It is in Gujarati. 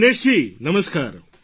દિનેશજી નમસ્કાર